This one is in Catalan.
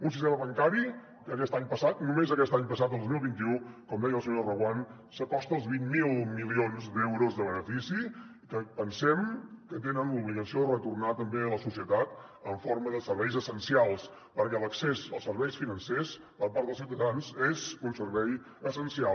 un sistema bancari que aquest any passat només aquest any passat el dos mil vint u com deia la senyora reguant s’acosta als vint miler milions d’euros de benefici que pensem que tenen l’obligació de retornar també a la societat en forma de serveis essencials perquè l’accés als serveis financers per part dels ciutadans és un servei essencial